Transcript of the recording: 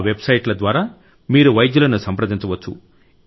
ఆ వెబ్ సైట్ల ద్వారా మీరు వైద్యులను సంప్రదించవచ్చు